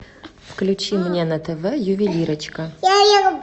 включи мне на тв ювелирочка